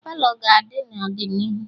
Palọ ga-na adị n'ọdịnihu